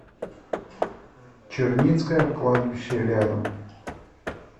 черницкое кладбище рядом